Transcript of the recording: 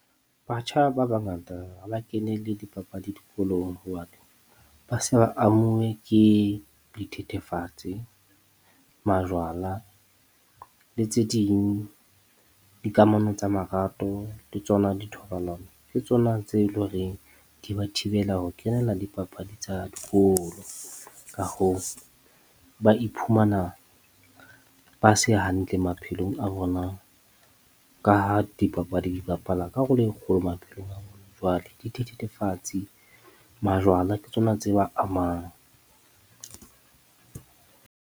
Batjha ba bangata ha ba kenele dipapadi dikolong ba se ba amuve ke dithethefatse, majwala le tse ding. Dikamano tsa marato le tsona dithobalano. Ke tsona tse lo reng di ba thibela ho kenela dipapadi tsa dikolo, ka hoo, ba iphumana ba se hantle maphelong a bona ka ha dipapadi di bapala karolo e kgolo maphelong a bona. Jwale majwala ke tsona tse ba amang.